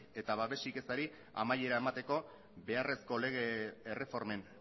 eta babesik ezari amaiera emateko beharrezko lege erreformen